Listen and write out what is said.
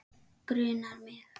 Grunar hann mig?